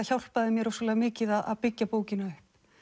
hjálpaði mér mikið að byggja bókina upp